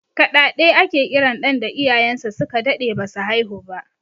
Kaɗaɗe ake kiran ɗan da iyayen sa su ka daɗe ba su haihu ba